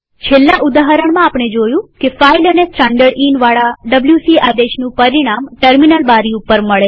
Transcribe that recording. છેલ્લા ઉદાહરણમાં આપણે જોયું કે ફાઈલ અને standardinવાળા ડબ્લ્યુસી આદેશનું પરિણામ ટર્મિનલ બારી ઉપર મળે છે